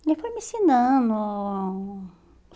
Ele foi me ensinando.